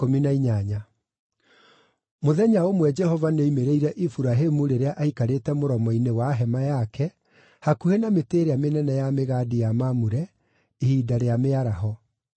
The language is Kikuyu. Mũthenya ũmwe Jehova nĩ oimĩrĩire Iburahĩmu rĩrĩa aikarĩte mũromo-inĩ wa hema yake hakuhĩ na mĩtĩ ĩrĩa mĩnene ya mĩgandi ya Mamure, ihinda rĩa mĩaraho.